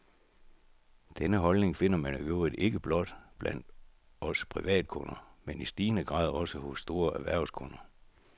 Denne holdning finder man i øvrigt ikke blot blandt os privatkunder, men i stigende grad også hos store erhvervskunder.